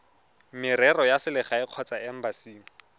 merero ya selegae kgotsa embasing